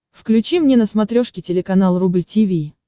включи мне на смотрешке телеканал рубль ти ви